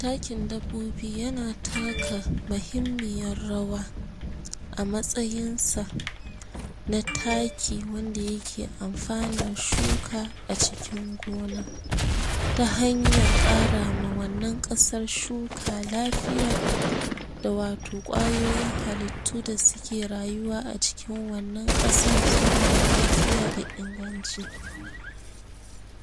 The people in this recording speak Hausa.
takin dabbobi yana taka mahimmiyar rawa a matsayinsa na taki wanda yake amfana shuka a cikin gona ta hanyar karawa wannan kasar shuka lafiya wato kwayoyin halittu da suke rayuwa a cikin wannan kasan suma lafiya da inganci